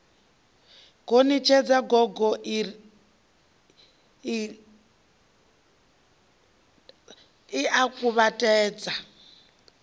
gonitshedza gogo ie wa kuvhatedza